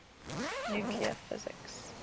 nuclear physics